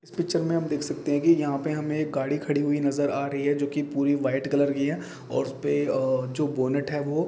देख सकते है की यहा पे हमें एक गाड़ी खड़ी हुए नज़र आरही है जो पूरी वाइट कलर की है और उसपे अ-अ-अ जो बोनेट है वोह हमे अअअ येल्लो कलर --